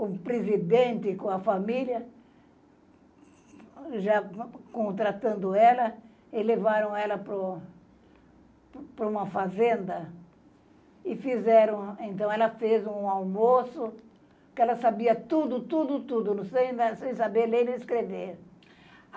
o presidente com a família, já con contratando ela, e levaram ela para o para uma fazenda e fizeram... Então, ela fez um almoço, que ela sabia tudo, tudo, tudo, sem saber ler nem escrever.